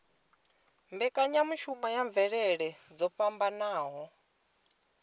mbekanyamushumo ya mvelele dzo fhambanaho